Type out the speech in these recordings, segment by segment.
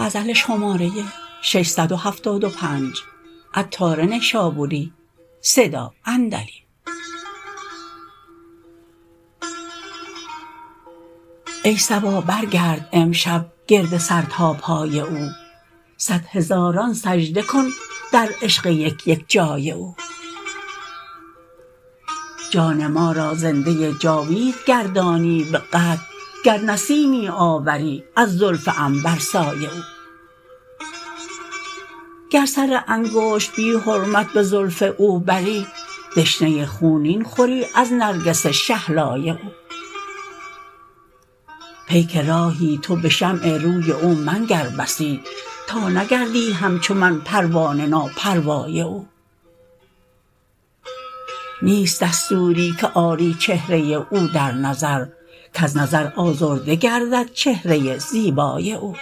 ای صبا برگرد امشب گرد سر تاپای او صد هزاران سجده کن در عشق یک یک جای او جان ما را زنده جاوید گردانی به قطع گر نسیمی آوری از زلف عنبرسای او گر سر انگشت بی حرمت به زلف او بری دشنه خونین خوری از نرگس شهلای او پیک راهی تو به شمع روی او منگر بسی تا نگردی همچو من پروانه نا پروای او نیست دستوری که آری چهره او در نظر کز نظر آزرده گردد چهره زیبای او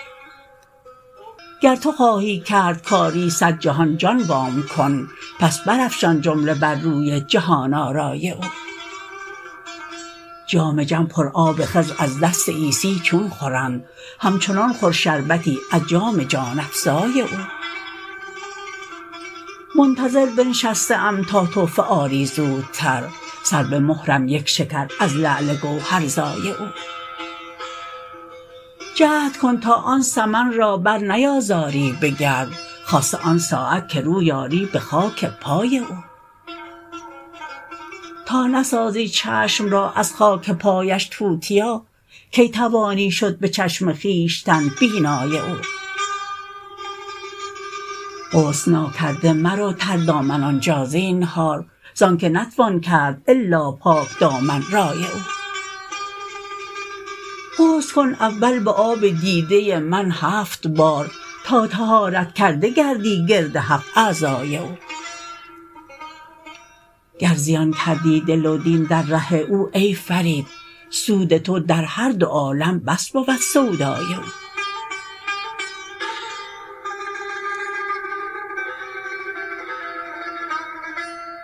گر تو خواهی کرد کاری صد جهان جان وام کن پس برافشان جمله بر روی جهان آرای او جام جم پر آب خضر از دست عیسی چون خورند همچنان خور شربتی از جام جان افزای او منتظر بنشسته ام تا تحفه آری زودتر سر به مهرم یک شکر از لعل گوهر زای او جهد کن تا آن سمن را بر نیازاری به گرد خاصه آن ساعت که روی آری به خاک پای او تا نسازی چشم را از خاک پایش توتیا کی توانی شد به چشم خویشتن بینای او غسل ناکرده مرو تر دامن آنجا زینهار زانکه نتوان کرد الا پاک دامن رای او غسل کن اول به آب دیده من هفت بار تا طهارت کرده گردی گرد هفت اعضای او گر زیان کردی دل و دین در ره او ای فرید سود تو در هر دو عالم بس بود سودای او